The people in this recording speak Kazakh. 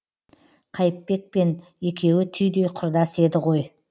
қайыпбек пен екеуі түйдей құрдас еді ғой